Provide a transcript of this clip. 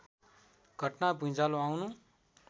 घटना भुँइचालो आउनु